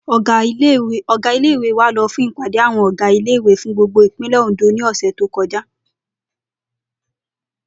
Ò̩gá ilé ìwé wa lo̩ fún ìpàdé àwo̩n ò̩gá ilé ìwé fún gbogbo ìpínlè̩ Òǹdó ní ò̩sè̩ tó ko̩já